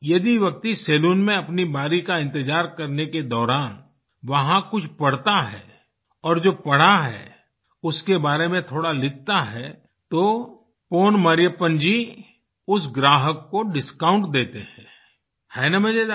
यदि व्यक्ति सलून में अपनी बारी का इंतज़ार करने के दौरान वहाँ कुछ पढ़ता है और जो पढ़ा है उसके बारे में थोड़ा लिखता है तो पोन मरियप्पन जी उस ग्राहक को डिस्काउंट देते हैं है न मजेदार